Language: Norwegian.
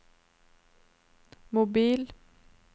mobil